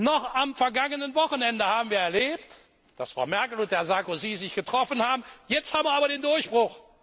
Noch am vergangenen Wochenende haben wir erlebt, dass Frau Merkel und Herr Sarkozy sich getroffen haben Jetzt haben wir aber den Durchbruch.